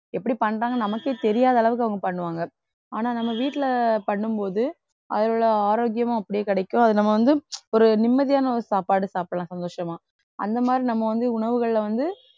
எப்படி பண்றாங்கன்னு நமக்கே தெரியாத அளவுக்கு அவங்க பண்ணுவாங்க ஆனா நம்ம வீட்டிலே பண்ணும் போது அதில்லுள்ள ஆரோக்கியமும் அப்படியே கிடைக்கும். அதை நம்ம வந்து ஒரு நிம்மதியான ஒரு சாப்பாடு சாப்பிடலாம் சந்தோஷமா அந்த மாதிரி நம்ம வந்து உணவுகள்ல வந்து